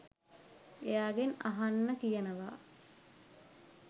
එයාගෙන් අහන්න කියනවා